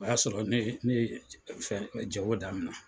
O y'a sɔrɔ ne ye ne ye fɛn jago daminɛ.